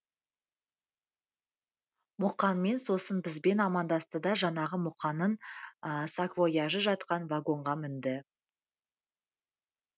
мұқаңмен сосын бізбен амандасты да жаңағы мұқаңның саквояжы жатқан вагонға мінді